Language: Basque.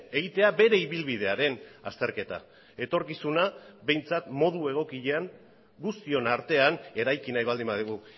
egitea bere ibilbidearen azterketa etorkizuna behintzat modu egokian guztion artean eraiki nahi baldin badugu